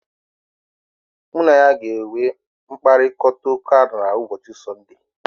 Mụ na ya ga-enwe mkparịkọtaụka na ụbọchị Sunday.